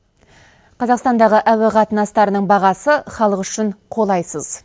қазақстандағы әуе қатынастарының бағасы халық үшін қолайсыз